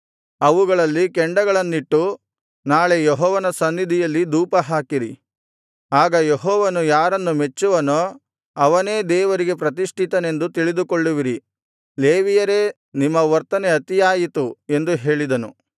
ಅವುಗಳಲ್ಲಿ ಕೆಂಡಗಳನ್ನಿಟ್ಟು ನಾಳೆ ಯೆಹೋವನ ಸನ್ನಿಧಿಯಲ್ಲಿ ಧೂಪಹಾಕಿರಿ ಆಗ ಯೆಹೋವನು ಯಾರನ್ನು ಮೆಚ್ಚುವನೋ ಅವನೇ ದೇವರಿಗೆ ಪ್ರತಿಷ್ಠಿತನೆಂದು ತಿಳಿದುಕೊಳ್ಳುವಿರಿ ಲೇವಿಯರೇ ನಿಮ್ಮ ವರ್ತನೆ ಅತಿಯಾಯಿತು ಎಂದು ಹೇಳಿದನು